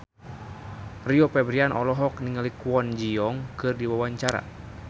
Rio Febrian olohok ningali Kwon Ji Yong keur diwawancara